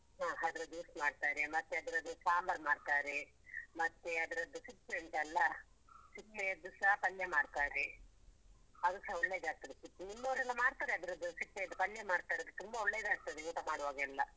ಹಾ ಅದ್ರ juice ಮಾಡ್ತಾರೆ, ಮತ್ತೆ ಅದ್ರದ್ದು ಸಾಂಬಾರ್ ಮಾಡ್ತಾರೆ, ಮತ್ತೆ ಅದ್ರದ್ದು ಸಿಪ್ಪೆ ಉಂಟಲ್ಲ ಸಿಪ್ಪೆಯದ್ದುಸ ಪಲ್ಯ ಮಾಡ್ತಾರೆ, ಅದುಸ ಒಳ್ಳೆದಾಗ್ತದೆ ಸಿಪ್ಪೆ ನಿಮ್ಮವರೆಲ್ಲ ಮಾಡ್ತಾರೆ ಅದ್ರದ್ದು ಸಿಪ್ಪೆಯದ್ದು ಪಲ್ಯ ಮಾಡ್ತಾರೆ ಅದು ತುಂಬ ಒಳ್ಳೆ ಒಳ್ಳೆದಾಗ್ತದೆ ಊಟ ಮಾಡುವಾಗೆಲ್ಲ.